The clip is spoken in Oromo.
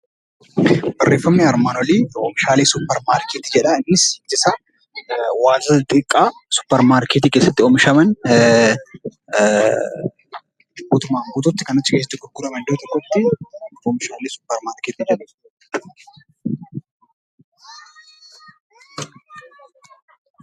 Oomishaaleen suupparmaarkeetii wantoota xixiqqaa suupparmaarkeetii keessatti oomishaman kan iddoo tokkotti gurguraman oomishaalee suupparmaarkeetii jedhamu.